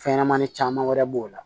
Fɛnɲɛnɛmanin caman wɛrɛ b'o la